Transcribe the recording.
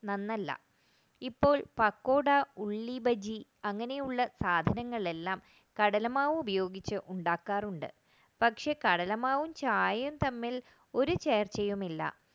നന്നല്ല ഇപ്പോൾ പക്കോട ഉള്ളിബജി അങ്ങനെയുള്ള സാധനങ്ങൾ എല്ലാം കടലമാവ് ഉപയോഗിച്ച് ഉണ്ടാക്കാറുണ്ട് പക്ഷേ കടലമാവും ചായയും തമ്മിൽ ഒരു ചേർച്ചയുമില്ല